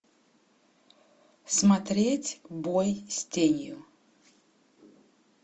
смотреть бой с тенью